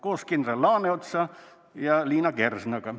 " Koos kindral Laaneotsa ja Liina Kernaga.